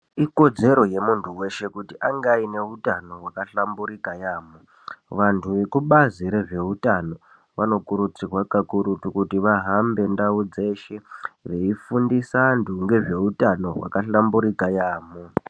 Ikodzero yemuntu weshe kuti ange ane utano wakahlamburika yambo, vantu vekubazi rezveutano vanokurudzirwa kakurutu kuti vahambe ndau dzeshe veifundisa vantu ngezveutano hwakahlamburuka yambo.